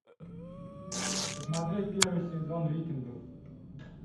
посмотреть первый сезон викингов